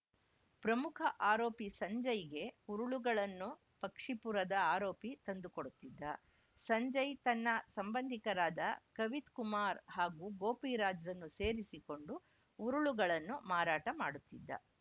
ಪ್ರಮುಖ ಆರೋಪಿ ಸಂಜಯ್‌ಗೆ ಉರುಳುಗಳನ್ನು ಪಕ್ಷಿಪುರದ ಆರೋಪಿ ತಂದು ಕೊಡುತ್ತಿದ್ದ ಸಂಜಯ್‌ ತನ್ನ ಸಂಬಂಧಿಕರಾದ ಕವಿತ್‌ಕುಮಾರ್‌ ಹಾಗೂ ಗೋಪಿರಾಜ್‌ನನ್ನು ಸೇರಿಸಿಕೊಂಡು ಉರುಳುಗಳನ್ನು ಮಾರಾಟ ಮಾಡುತ್ತಿದ್ದ